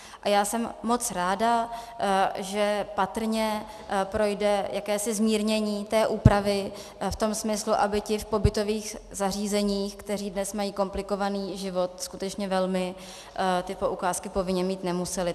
A já jsem moc ráda, že patrně projde jakési zmírnění té úpravy v tom smyslu, aby ti v pobytových zařízeních, kteří mají dnes komplikovaný život skutečně velmi, ty poukázky povinně mít nemuseli.